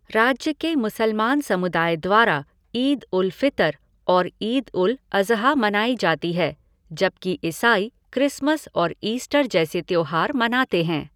राज्य के मुसलमान समुदाय द्वारा ईद उल फ़ितर और ईद उल अज़हा मनाई जाती है, जबकि ईसाई क्रिसमस और ईस्टर जैसे त्यौहार मनाते हैं।